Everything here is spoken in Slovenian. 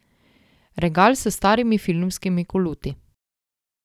Regal s starimi filmskimi koluti.